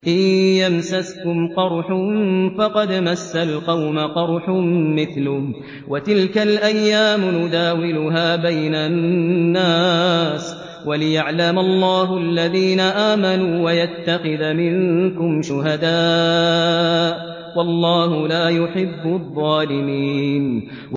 إِن يَمْسَسْكُمْ قَرْحٌ فَقَدْ مَسَّ الْقَوْمَ قَرْحٌ مِّثْلُهُ ۚ وَتِلْكَ الْأَيَّامُ نُدَاوِلُهَا بَيْنَ النَّاسِ وَلِيَعْلَمَ اللَّهُ الَّذِينَ آمَنُوا وَيَتَّخِذَ مِنكُمْ شُهَدَاءَ ۗ وَاللَّهُ لَا يُحِبُّ الظَّالِمِينَ